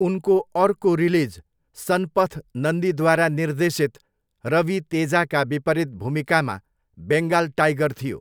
उनको अर्को रिलिज सन्पथ नन्दीद्वारा निर्देशित रवि तेजाका विपरीत भूमिकामा बेङ्गाल टाइगर थियो।